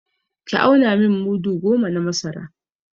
Ki auna min mudu goma na masara!